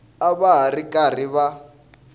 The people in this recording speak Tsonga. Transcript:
a va ri karhi va